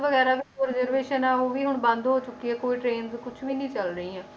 ਵਗ਼ੈਰਾ reservation ਆ, ਉਹ ਵੀ ਹੁਣ ਬੰਦ ਹੋ ਚੁੱਕੀ ਹੈ ਕੋਈ train ਕੁਛ ਵੀ ਨੀ ਚੱਲ ਰਹੀਆਂ,